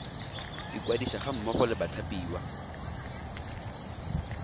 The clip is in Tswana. ikwadisa ga mmogo le bathapiwa